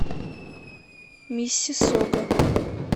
миссиссога